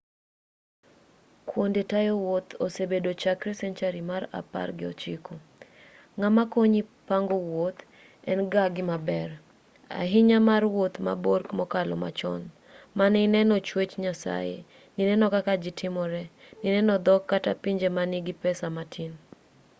kuonde tayo wuoth osebedo chakre senchari mar apar gi ochiko ng'ama konyi pango wuoth en-ga gimaber ahinya mar wuoth mabor mokalo machon mane ineno chwech nyasaye nineno kaka ji timore nineno dhok kata pinje manigi pesa matin